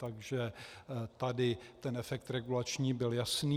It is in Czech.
Takže tady ten efekt regulační byl jasný.